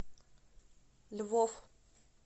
львов